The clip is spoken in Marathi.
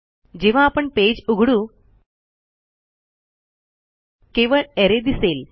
जेव्हा आपण पेज उघडू केवळ अरे दिसेल